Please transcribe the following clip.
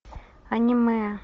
аниме